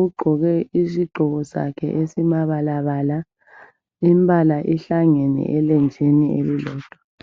Ugqoke isigqoko sakhe esimabalabala, imbala ihlangene elenjini elilodwa.